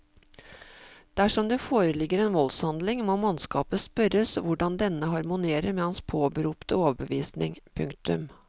Dersom det foreligger en voldshandling må mannskapet spørres hvordan denne harmonerer med hans påberopte overbevisning. punktum